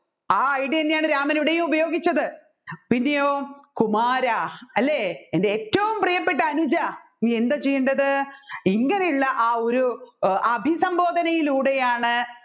ആ idea തന്നെയാണ് രാമൻ ഇവിടെയും ഉപയോഗിച്ചത് പിന്നെയോ കുമാരാ അല്ലെ എൻെറ ഏറ്റവും പ്രിയപ്പെട്ട അനുജാ നീ എന്താ ചെയ്യേണ്ടത് ഇങ്ങനെയുള്ള ആ ഒരു അഭിസംബോധനയിലൂടെയാണ്‌